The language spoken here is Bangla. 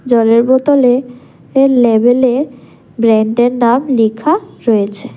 জলের বোতলে লেভেল -এ ব্র্যান্ড -এর নাম লিখা রয়েছে।